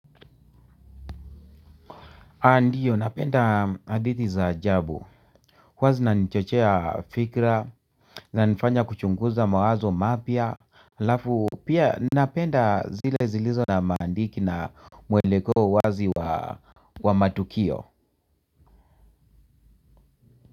Ndio napenda hadithi za ajabu huwa zinanichochea fikra na zinanifanya kuchunguza mawazo mapya halafu pia napenda zile zilizo na mantiki na mwelekeo wazi wa matukio.